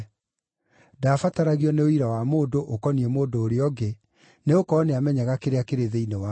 Ndaabataragio nĩ ũira wa mũndũ, ũkoniĩ mũndũ ũrĩa ũngĩ, nĩgũkorwo nĩamenyaga kĩrĩa kĩrĩ thĩinĩ wa mũndũ.